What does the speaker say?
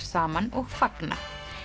saman og fagna